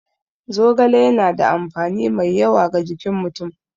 Zogale yana da amfani mai yawa ga jikin mutum.